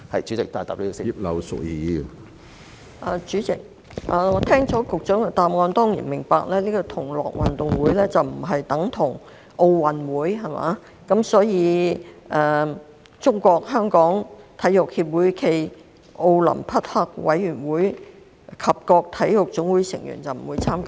主席，聽罷局長的答覆，我當然明白同樂運動會並不等同奧運會，所以中國香港體育協會暨奧林匹克委員會及各體育總會成員不會參與。